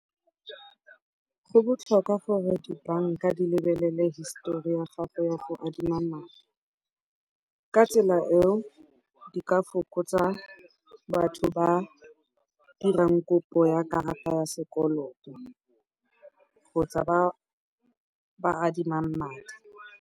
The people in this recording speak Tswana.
Go botlhokwa gore di banka di lebelele histori ya gago ya go adima madi, ka tsela eo di ka fokotsa batho ba ba dirang kopo ya karata ya sekoloto kgotsa ba ba adimang madi.